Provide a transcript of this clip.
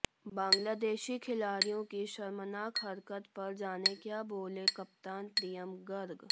बांग्लादेशी खिलाड़ियों की शर्मनाक हरकत पर जानें क्या बोले कप्तान प्रियम गर्ग